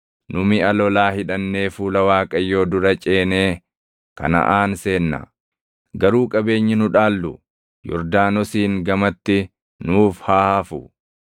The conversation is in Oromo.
Nu miʼa lolaa hidhannee fuula Waaqayyoo dura ceenee Kanaʼaan seenna; garuu qabeenyi nu dhaallu Yordaanosiin gamatti nuuf haa hafu.”